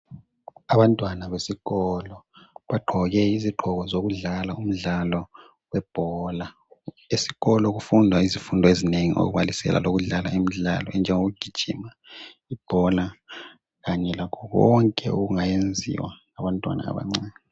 Abantwana besikolo bagqoke izigqoko zokudlala umdlalo webhola. Esikolo kufundwa izifundo ezinengi okubalisela lezokudlala imidlalo okunjengo kugijima ,ibhola kanye lakho konke okungayenziwa ngabantwana abancane.